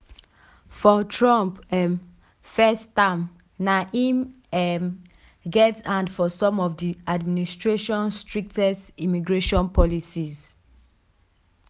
for trump um first term na im um get hand for some of di admistration strictest immigration policies.